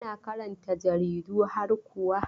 Kana karanta jaridu har kuwa?